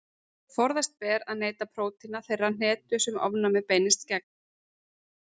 Forðast ber að neyta prótína þeirrar hnetu sem ofnæmið beinist gegn.